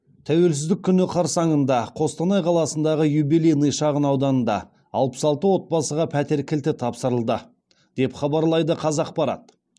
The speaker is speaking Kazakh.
тәуелсіздік күні қарсаңында қостанай қаласындағы юбилейный шағын ауданында алпыс алты отбасыға пәтер кілті тапсырылды деп хабарлайды қазақпарат